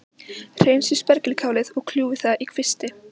Hreinsið spergilkálið og kljúfið það í kvisti.